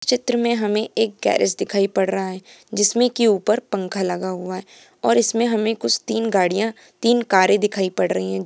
चित्र में हमे एक गेरिज दिखाई पड़ रहा है जिसमे की ऊपर पंखा लगा हुआ है और इसमे हमे कुछ तीन गाड़िया तीन कारे दिखाई पड़ रही है।